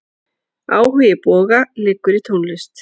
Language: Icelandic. Áhugi Boga liggur í tónlist.